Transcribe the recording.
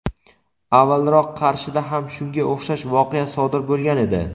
avvalroq Qarshida ham shunga o‘xshash voqea sodir bo‘lgan edi.